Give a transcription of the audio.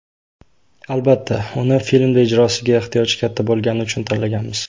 Albatta, uni filmda ijrosiga ehtiyoj katta bo‘lgani uchun tanlaganmiz.